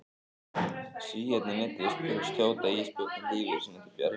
Svíarnir neyddust til að skjóta ísbjörninn lífi sínu til bjargar.